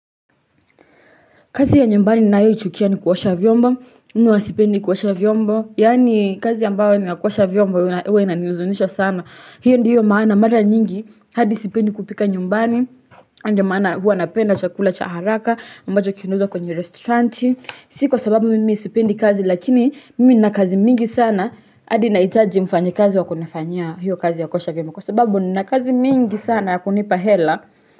Kazi ya nyumbani ninayo ichukia ni kuosha vyombo, mimi huwa sipendi kuosha vyombo. Yaani kazi ambayo ni ya kuosha vyombo, huwa inanihuzunisha sana. Hiyo ndiyo maana mara nyingi hadi sipendi kupika nyumbani. Na ndio maana huwa napenda chakula cha haraka, ambacho kinauzwa kwenye restauranti. Si kwa sababu mimi sipendi kazi lakini mimi nina kazi mingi sana, hadi nahitaji mfanya kazi wa kunifanyia hiyo kazi ya kuosha vyombo. Kwa sababu nina kazi mingi sana ya kunipa hela.